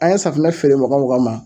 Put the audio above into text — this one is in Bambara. An ye safunɛ feere mɔgɔ mɔgɔ ma